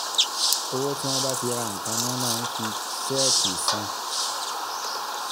owó tí wọ́n bá fi ra nǹkan ni wọ́n máa ń ń fi ṣéẹ̀kì san.